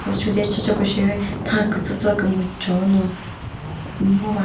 chode shiche ko sheri nha kücücü kümüjono ngo va.